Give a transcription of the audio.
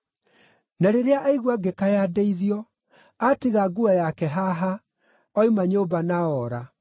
Na rĩrĩa aigua ngĩkaya ndeithio, aatiga nguo yake haha, oima nyũmba na oora.”